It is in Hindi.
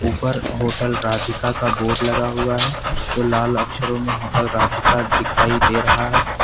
पर होटल राधिका का बोर्ड लगा हुआ है जो लाल अक्षरों में होटल राधिका दिखाई दे रहा है।